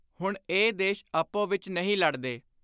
ਹੁਣ ਇਹ ਦੇਸ਼ ਆਪੋ ਵਿਚ ਨਹੀਂ ਲੜਦੇ।